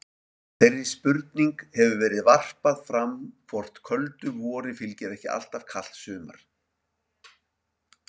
Þeirri spurning hefur verið varpað fram hvort köldu vori fylgdi ekki alltaf kalt sumar.